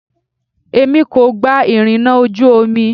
Èmi kò gba ìrìnà ojú omi.